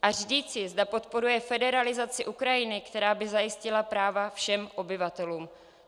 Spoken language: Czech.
A říci, zda podporuje federalizaci Ukrajiny, která by zajistila práva všem obyvatelům.